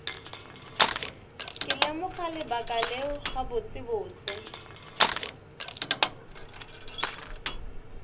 ke lemoga lebaka leo gabotsebotse